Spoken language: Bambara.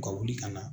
U ka wuli ka na